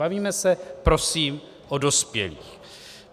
Bavíme se prosím o dospělých.